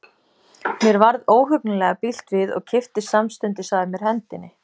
Mér varð óhugnanlega bilt við og kippti samstundis að mér hendinni.